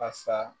A sa